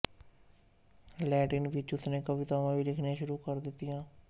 Latin ਵਿੱਚ ਉਸਨੇ ਕਵਿਤਾਵਾਂ ਵੀ ਲਿਖਣੀਆਂ ਸ਼ੁਰੂ ਕਰ ਦਿੱਤੀਆਂ